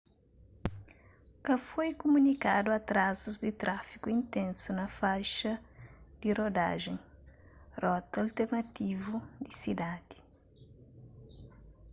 ka foi kumunikadu atrazus di tráfigu intensu na faixa di rodajen rota alternativu di sidadi